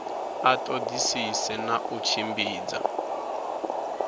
a ṱoḓisise na u tshimbidza